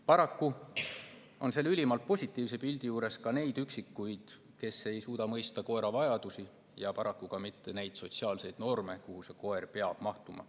Paraku on selle ülimalt positiivse pildi juures ka neid üksikuid, kes ei suuda mõista koera vajadusi ja paraku ka mitte sotsiaalseid norme, mille raamesse koer peab mahtuma.